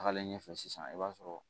Tagalen ɲɛfɛ sisan i b'a sɔrɔ